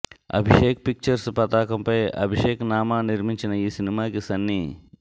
Abhishek pictures పతాకంపై అభిషేక్ నామా నిర్మించిన ఈ సినిమాకి సన్నీ